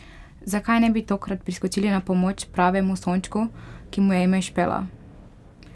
Zakaj ne bi tokrat priskočili na pomoč pravemu sončku, ki mu je ime Špela?